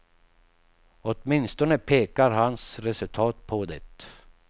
Åtminstone pekar hans resultat på det.